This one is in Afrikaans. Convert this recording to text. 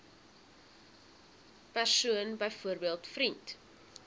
persoon byvoorbeeld vriend